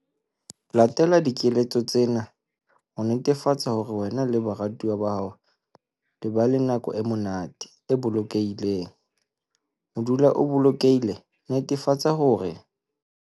Latela dikeletso tsena ho netefatsa hore wena le baratuwa ba hao le ba le nako e monate, e bolokehileng. Ho dula o bolokehile, netefatsa hore.